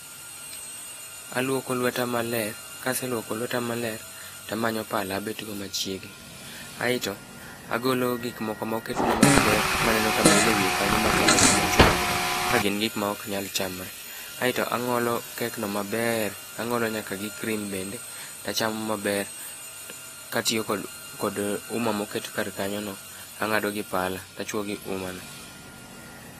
Aluoko lweta maler kaseluoko lweta maler tamanyo pala abetgo machiegni ae to agolo gik moko moket ne gi mag ber mamil e wiye kanyo machalo chumachuma go ka ok gin gik ma ok nyal chamre kae tang'olo kek no maber kae to ang'olo nyaka gi cream bende tachamo maber katieko kod huma moket kar kanyo no tang'ado gi palano ta chwo gi huma.